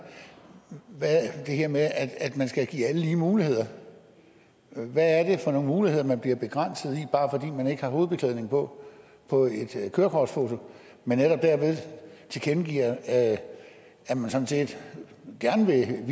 det her med at man skal give alle lige muligheder hvad er det for nogle muligheder man bliver begrænset i ikke har hovedbeklædning på på et kørekortfoto men netop derved tilkendegiver at at man sådan set gerne vil